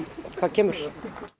hvað kemur